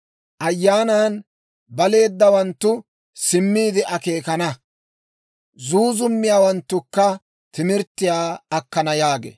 Ayyaanan baleeddawanttu simmiide akeekana; zuuzummiyaawanttukka timirttiyaa akkana» yaagee.